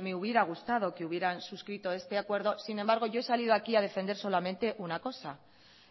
me hubiera gustado que hubieran suscrito este acuerdo sin embargo yo he salido aquí a defender solamente una cosa